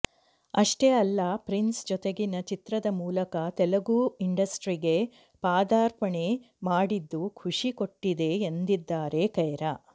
ಅಷ್ಟೇ ಅಲ್ಲ ಫ್ರಿನ್ಸ್ ಜೊತೆಗಿನ ಚಿತ್ರದ ಮೂಲಕ ತೆಲುಗು ಇಂಡಸ್ಟ್ರೀಗೆ ಪಾದರ್ಪಣೆ ಮಾಡಿದ್ದು ಖುಷಿ ಕೊಟ್ಟಿದೆ ಎಂದಿದ್ದಾರೆ ಕೈರಾ